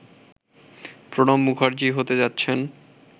প্রণব মুখার্জি হতে যাচ্ছেন